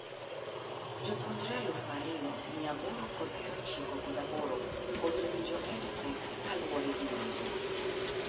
Jopuonjre Eluf ariyo, mia aboro kod piero ochiko kod aboro(2898) ose winjo EdTech kaluwore gi nonro